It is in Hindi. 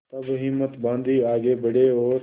तब हिम्मत बॉँधी आगे बड़े और